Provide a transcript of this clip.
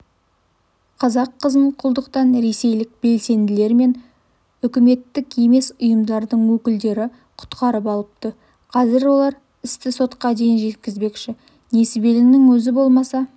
қазақ қызын құлдықтан ресейлік белсенділер мен үкіметтік емес ұйымдардың өкілдері құтқарып алыпты қазір олар істі сотқа дейін жеткізбекші несібелінің өзі болса